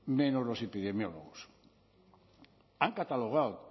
menos los epidemiólogos han catalogado